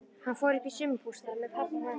Hann fór uppí sumarbústað með pabba og mömmu.